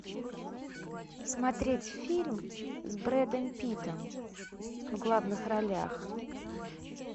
смотреть фильм с бредом питтом в главных ролях